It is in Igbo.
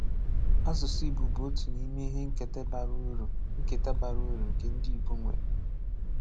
Àsụsụ Igbo bụ òtụ n’ìmè ìhè nkétà bàrà ùrù nkétà bàrà ùrù nke ndị Igbo nwère.